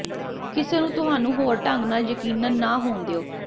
ਕਿਸੇ ਨੂੰ ਤੁਹਾਨੂੰ ਹੋਰ ਢੰਗ ਨਾਲ ਯਕੀਨਨ ਨਾ ਹੋਣ ਦਿਓ